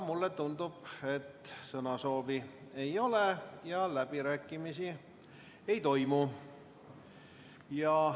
Mulle tundub, et sõnasoovi ei ole ja läbirääkimisi ei toimu.